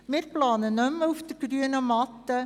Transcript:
Wir planen nicht mehr auf der grünen Wiese.